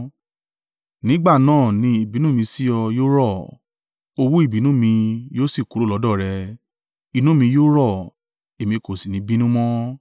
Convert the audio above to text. Nígbà náà ni ìbínú mi sí o yóò rọ̀, owú ìbínú mi yóò sì kúrò lọ́dọ̀ rẹ; inú mi yóò rọ̀, èmi kò sì ní bínú mọ́.”